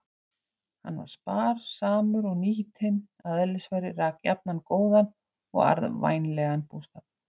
Hann var spar- samur og nýtinn að eðlisfari, rak jafnan góðan og arðvænlegan búskap.